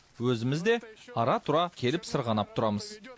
өзіміз де ара тұра келіп сырғанап тұрамыз